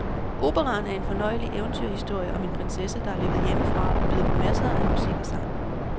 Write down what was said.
Operaen er en fornøjelig eventyrhistorie om en prinsesse, der er løbet hjemmefra, og byder på masser af musik og sang.